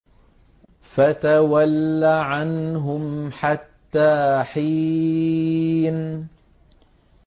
فَتَوَلَّ عَنْهُمْ حَتَّىٰ حِينٍ